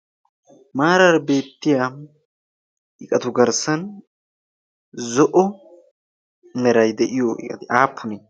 maarar beettiya iqatu garssan zo'o meray de'iyo iqati aappunie?